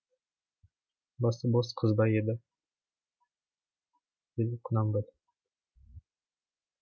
басы бос қыз ба еді деді құнанбай